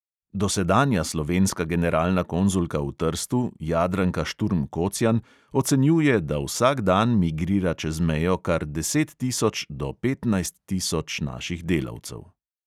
Dosedanja slovenska generalna konzulka v trstu jadranka šturm kocjan ocenjuje, da vsak dan migrira čez mejo kar deset tisoč do petnajst tisoč naših delavcev.